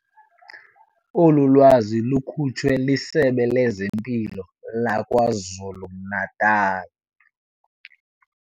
Olu lwazi lukhutshwe liSebe lezeMpilo laKwaZulu-Natal.